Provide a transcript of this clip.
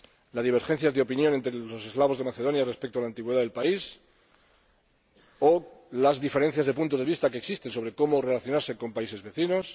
las divergencias de opinión entre los eslavos de Macedonia respecto a la antigüedad del país o las diferencias de puntos de vista que existen sobre cómo relacionarse con países vecinos.